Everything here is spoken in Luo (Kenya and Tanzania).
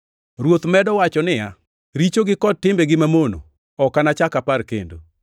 Ruoth medo wacho niya, “Richogi kod timbegi mamono ok anachak apar kendo.” + 10:17 \+xt Jer 31:34\+xt*